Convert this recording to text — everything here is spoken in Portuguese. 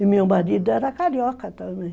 E meu marido era carioca também.